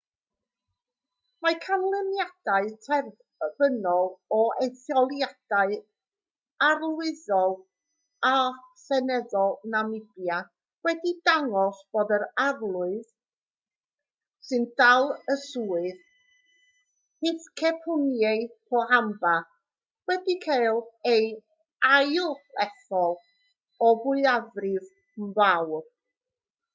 mae canlyniadau terfynol o etholiadau arlywyddol a seneddol namibia wedi dangos bod yr arlywydd sy'n dal y swydd hifikepunye pohamba wedi cael ei ailethol o fwyafrif mawr